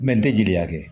Mɛ n tɛ jeli kɛ